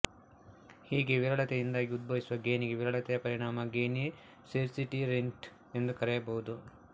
ಹೀಗೆ ವಿರಳತೆಯಿಂದಾಗಿ ಉದ್ಭವಿಸುವ ಗೇಣಿಗೆ ವಿರಳತೆಯ ಪರಿಣಾಮ ಗೇಣಿ ಸ್ಕೇರ್ಸಿಟಿ ರೆಂಟ್ ಎಂದು ಕರೆಯಬಹುದು